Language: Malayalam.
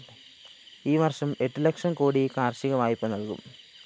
ഈ വര്‍ഷം എട്ട് ലക്ഷം കോടി കാര്‍ഷിക വായ്പ നല്‍കും